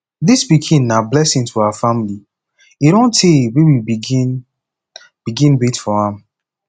dis pikin na blessing to our family e don tey wey we begin begin wait for am